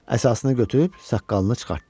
Əsasını götürüb saqqalını çıxartdı.